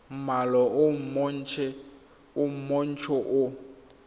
mmala o montsho le o